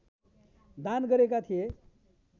दान गरेका थिए